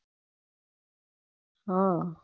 હમ